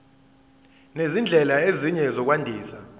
nezindlela ezinye zokwandisa